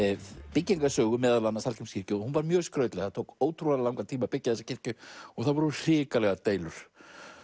byggingarsögu Hallgrímskirkju og hún var mjög skrautleg það tók ótrúlegan langan tíma að byggja þessa kirkju það voru hrikalegar deilur